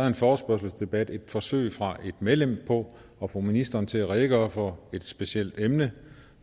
at en forespørgselsdebat er et forsøg fra et medlem på at få ministeren til at redegøre for et specielt emne